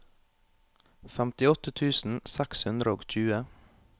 femtiåtte tusen seks hundre og tjue